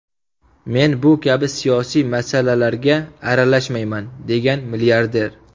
Men bu kabi siyosiy masalalarga aralashmayman”, degan milliarder.